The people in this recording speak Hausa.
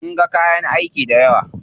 Sun ga kayan aiki dayawa.